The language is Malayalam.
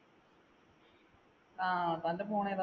ആ, തന്‍ടെ phone ഏതാ?